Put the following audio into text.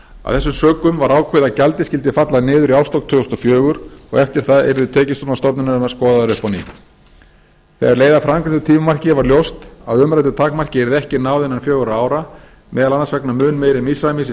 af þessum sökum var ákveðið að gjaldið skyldi falla niður í árslok tvö þúsund og fjögur og eftir það yrðu tekjustofnar stofnunarinnar skoðaðir upp á nýtt þegar leið að framangreindu tímamarki varð ljóst að umræddu takmarki yrði ekki náð innan fjögurra ára meðal annars vegna mun meiri misræmis í